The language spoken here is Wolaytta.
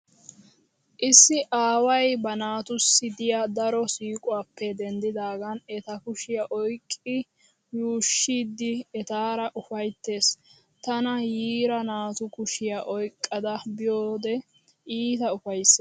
Issi aaway ba naatussi diya daro siiquwappe denddidaagan eta kushiya oyqqi yuushshiiddi etaara ufayttees. Tana yiira naatu kushiya oyqqada biyode iita ufayssees.